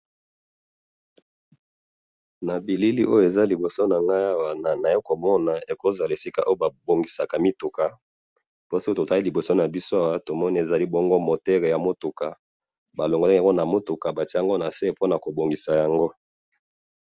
na bilili oyo eza liboso na ngai awa, naye komona eza esika oyo ba bongisaka mituka, po soki totali liboso na biso awa, tomoni ezali bongo moteur ya mutuka ba longoli yango na mutuka, batie yango na se pona ko bongisa yango